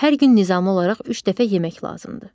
Hər gün nizamlı olaraq üç dəfə yemək lazımdır.